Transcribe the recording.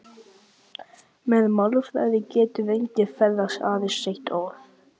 Með málþræði getur enginn ferðast- aðeins sent orð.